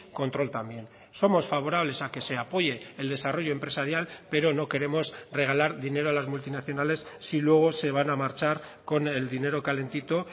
control también somos favorables a que se apoye el desarrollo empresarial pero no queremos regalar dinero a las multinacionales si luego se van a marchar con el dinero calentito